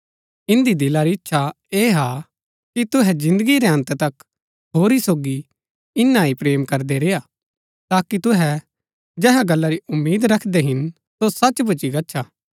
इन्दी दिला री इच्छा ऐह हा कि तुहै जिन्दगी रै अन्त तक होरी सोगी इन्या ही प्रेम करदै रेय्आ ताकि तुहै जेहा गल्ला री उम्मीद रखदै हिन सो सच भूच्ची गच्छा